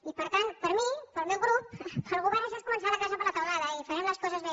i per tant per mi pel meu grup pel govern això és començar la casa per la teulada i farem les coses bé